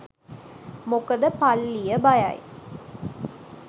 මොකද පල්ලිය බයයි